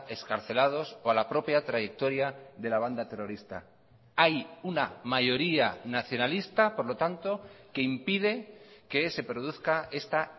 excarcelados o a la propia trayectoria de la banda terrorista hay una mayoría nacionalista por lo tanto que impide que se produzca esta